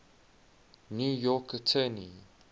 new york attorney